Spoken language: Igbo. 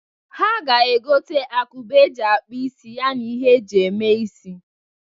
Ha ga-egota agụba e ji akpụ isi ya n'ihe e ji eme isi.